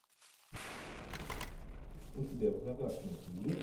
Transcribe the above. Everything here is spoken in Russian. у тебя в загашнике есть